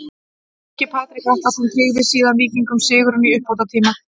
Hinn ungi Patrik Atlason tryggði síðan Víkingum sigurinn í uppbótartíma.